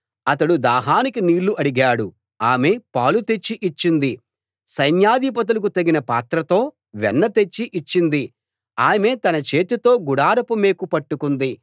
అతడు దాహానికి నీళ్ళు అడిగాడు ఆమె పాలు తెచ్చి ఇచ్చింది సైన్యాధిపతులకు తగిన పాత్రతో వెన్న తెచ్చి ఇచ్చింది ఆమె తన చేతితో గుడారపు మేకు పట్టుకుంది